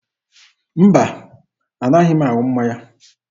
Mba, anaghị m aṅụ mmanya.